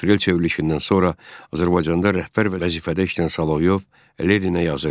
Aprel çevrilişindən sonra Azərbaycanda rəhbər vəzifədə işləyən Saloyev Leninə yazırdı.